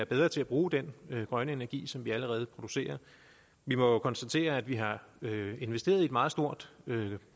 bedre til at bruge den grønne energi som vi allerede producerer vi må konstatere at vi har investeret i et meget stort